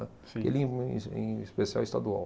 Aquele, em es, em especial, é estadual.